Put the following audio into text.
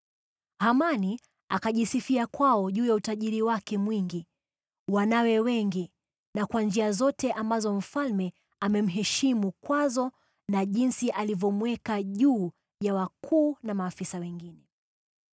Hamani akajisifia kwao juu ya utajiri wake mwingi, wanawe wengi na kwa njia zote ambazo mfalme amemheshimu kwazo na jinsi alivyomweka juu ya wakuu na maafisa wengine.